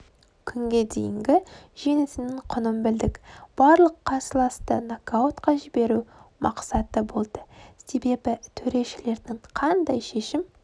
күнге дейінгі жеңісінің құнын білдік барлық қарсыласты нокаутқа жіберу мақсаты болды себебі төрешілердің қандай шешім